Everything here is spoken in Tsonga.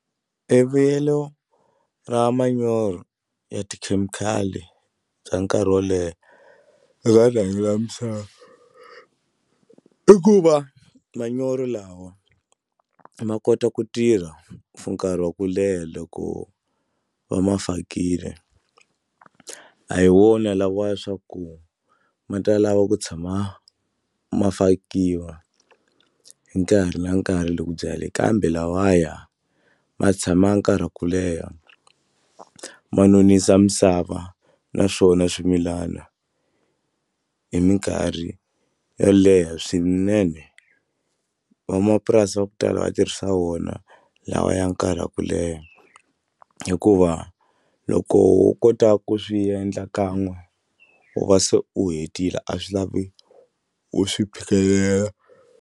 Evuyelo ra manyoro ya tikhemikhali bya nkarhi wo leha eka rihanyo ra misava i ku va manyoro lawa ma kota ku tirha for nkarhi wa ku leha loko va ma fakile a hi wona lawa ya swa ku ma ta lava ku tshama ma fakiwa hi nkarhi na nkarhi loko u byala kambe lawaya ma tshama nkarhi wa ku leha ma nonisa misava naswona swimilana hi mikarhi yo leha swinene van'wamapurasi va ku tala va tirhisa wona lawa ya nkarhi wa ku leha hikuva loko wo kota ku swi endla kan'we u va se u hetile a swi lavi u swi phikelela.